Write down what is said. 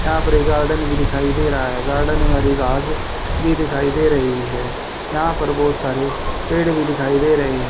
यहां पर एक गार्डन भी दिखाई दे रहा है गार्डन में हरी घास भी दिखाई दे रही है यहां पर बहोत सारे पेड़ भी दिखाई दे रहे हैं।